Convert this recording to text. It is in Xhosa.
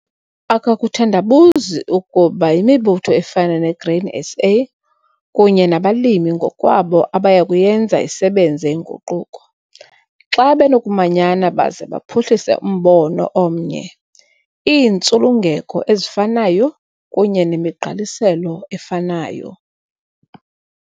Akakuthandabuzi ukuba yimibutho efana neGrain SA kunye nabalimi ngokwabo abaya kuyenza isebenze inguquko, xa benokumanyana baze baphuhlise umbono omnye, iintsulungeko ezifanayo kunye nemigqaliselo efanayo.